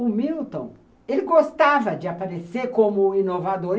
O Milton, ele gostava de aparecer como inovador.